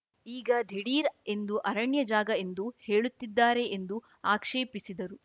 ಈಗ ದಿಢೀರ್‌ ಎಂದು ಅರಣ್ಯ ಜಾಗ ಎಂದು ಹೇಳುತ್ತಿದ್ದಾರೆ ಎಂದು ಆಕ್ಷೇಪಿಸಿದರು